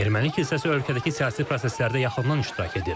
Erməni kilsəsi ölkədəki siyasi proseslərdə yaxından iştirak edir.